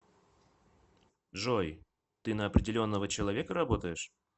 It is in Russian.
джой ты на определенного человека работаешь